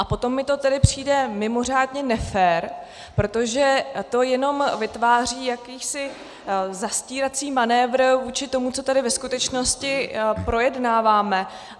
A potom mi to tedy přijde mimořádně nefér, protože to jenom vytváří jakýsi zastírací manévr vůči tomu, co tady ve skutečnosti projednáváme.